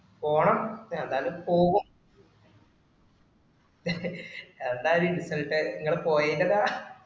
പോണം ന്തായാലും പോകും ന്താല്ലേ insult ഇങ്ങള് പോയേൻറ്റതാ